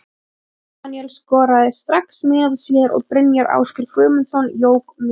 Björn Daníel skoraði strax mínútu síðar og Brynjar Ásgeir Guðmundsson jók muninn.